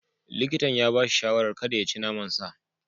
Likitan ya ba shi shawarar kada ya ci naman sa.